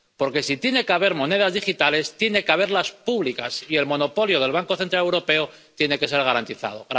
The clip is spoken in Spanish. Porque, si tiene que haber monedas digitales, tiene que haberlas públicas, y el monopolio del Banco Central Europeo tiene que ser garantizado.